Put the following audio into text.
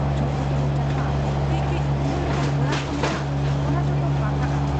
ᱡᱷᱩᱯᱩᱛᱩᱲᱩ ᱡᱟᱦᱟᱸ ᱠᱟᱹᱡ ᱠᱟᱹᱡ ᱠᱩᱢᱵᱟᱹ ᱞᱮᱠᱟᱱ ᱚᱲᱟᱜ ᱠᱚ ᱢᱮᱱᱟᱜ ᱟ, ᱚᱱᱟ ᱡᱚᱛᱚ ᱯᱟᱠᱟᱜ ᱟ ᱾